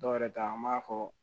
Dɔw yɛrɛ ta an b'a fɔ